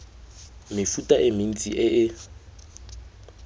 mefuta e mentsi e e